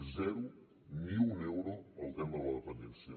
zero ni un euro al tema de la dependència